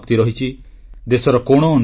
ମୋର ପ୍ରିୟ ଦେଶବାସୀଗଣ ଆପଣ ସମସ୍ତଙ୍କୁ ନମସ୍କାର